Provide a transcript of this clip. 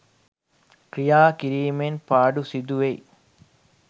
ක්‍රියා කිරීමෙන් පාඩු සිදු වෙයි.